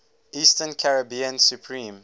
eastern caribbean supreme